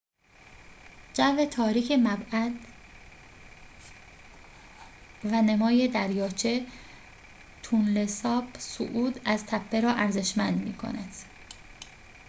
جو تاریک معبد و نمای دریاچه تونله ساپ صعود از تپه را ارزشمند می‌کند